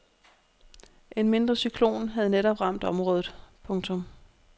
En mindre cyklon havde netop ramt området. punktum